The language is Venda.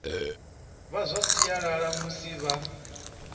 vha zwa sialala musi vha